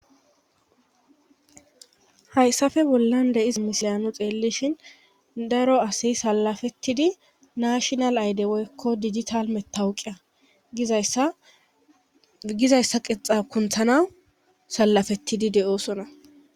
Hayssafe bollan deis misiyanu xeelishhin daro asi salafettidi nashinal ayde woykko dijital mettawuqiya agizayssa qexa kunthanawu salafettidi de7oosona.